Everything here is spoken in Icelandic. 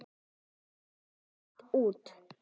Ekki þurrka neitt út.